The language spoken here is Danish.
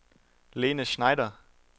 Lene Schneider